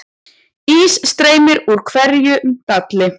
Ís streymir úr hverjum dalli